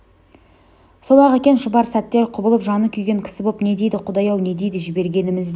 сол-ақ екен шұбар сәтте құбылып жаны күйген кісі боп не дейді құдай-ау не дейді жібергеніміз бе